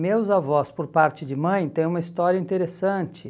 Meus avós, por parte de mãe, têm uma história interessante.